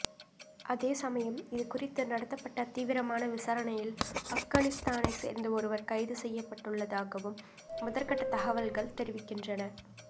அதேசமயம் இதுகுறித்து நடத்தப்பட்ட தீவிரமான விசாரணையில் ஆப்கானிஸ்தானை சேர்ந்த ஒருவர் கைது செய்யப்பட்டுள்ளதாகவும் முதற்கட்ட தகவல்கள் தெரிவிக்கின்றன